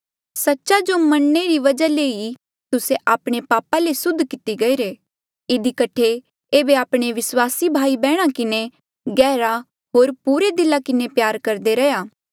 सच्च जो मनणे री वजहा ले ही तुस्से आपणे पापा ले सुद्ध किती गईरे इधी कठे ऐबे आपणे विस्वासी भाई बैहणा किन्हें गहरा होर पुरे दिला किन्हें प्यार करदे रैहया